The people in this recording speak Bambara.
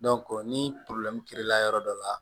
ni la yɔrɔ dɔ la